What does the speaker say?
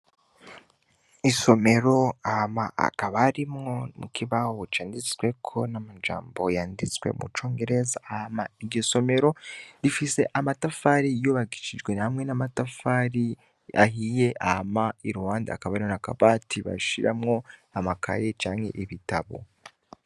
Isomero hama hakaba harimwo n'ikibaho canditsweko n'amajambo yanditswe mu congereza, hama iryo somero rifise amatafari yubakishijwe hamwe n'amatafari ahiye, hama iruhande hakaba hariho n'akabati bashiramwo amakaye canke ibitabo.